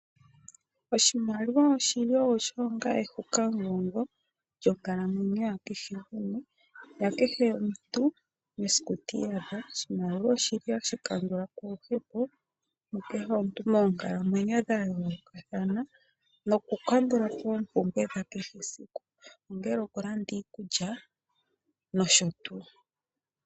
Oshimaliwa oshili onga ehukagongo mokalamwenyo yakehe gumwe ,oshimaliwa oshili hashi kandulapo uudhigu oshowo oopumbwe dhesiku kehe ongele okulanda iikulya nosho tuu.